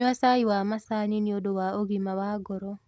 Nyua cai wa macani nĩũndũ wa ũgima wa ngoro